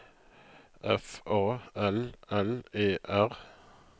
F A L L E R